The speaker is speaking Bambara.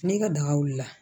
Ne ka daga wulila